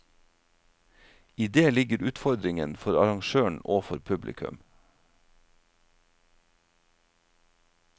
I det ligger utfordringen for arrangøren og for publikum.